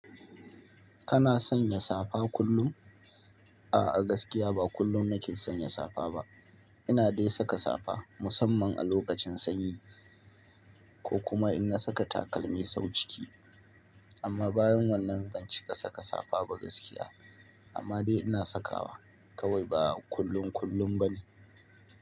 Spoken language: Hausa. Kana sanya safa kullum? A'a gaskiya ba kullum nake sanya safa ba. Ina dai saka safa musamman a lokacin sanyi, ko kuma in na saka takalmi sau ciki. Amma bayan wannan ban cika saka safa ba gaskiya. Amma dai ina sakawa, kawai ba kullum kullum ba ne.